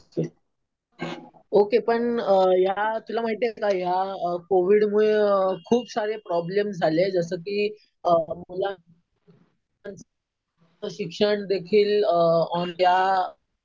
Okay. पण या तुला माहितीये का या कोविड मुळे खूप सारे प्रॉब्लेम्स झाले. जसं कि मला शिक्षण देखील या